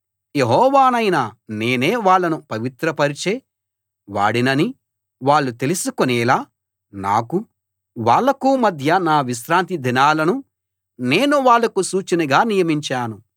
యెహోవానైన నేనే వాళ్ళను పవిత్రపరచే వాడినని వాళ్ళు తెలుసుకునేలా నాకూ వాళ్ళకూ మధ్య నా విశ్రాంతి దినాలను నేను వాళ్లకు సూచనగా నియమించాను